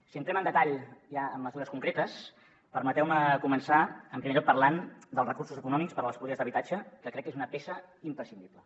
si entrem en detall ja a mesures concretes permeteu me començar en primer lloc parlant dels recursos econòmics per a les polítiques d’habitatge que crec que és una peça imprescindible